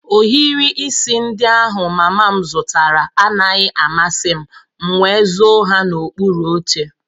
Ohiri isi ndị ahụ mama m zụtara anaghị amasị m, m nwé zó ha n'okpuru oche